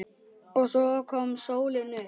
OG SVO KOM SÓLIN UPP.